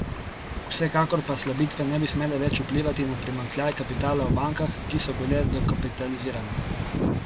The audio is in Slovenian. Vsekakor pa slabitve ne bi smele več vplivati na primanjkljaj kapitala v bankah, ki so bile dokapitalizirane.